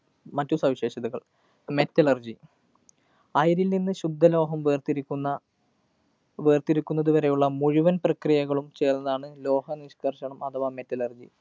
മറ്റു സവിശേഷതകള്‍. metallurgy, അയിരില്‍ നിന്ന് ശുദ്ധ ലോഹം വേര്‍തിരിക്കുന്ന വേര്‍തിരിക്കുന്നത് വരെയുള്ള മുഴുവന്‍ പ്രക്രിയകളും ചേര്‍ന്നതാണ് ലോഹ നിഷ്കര്‍ഷണം അഥവാ metallurgy.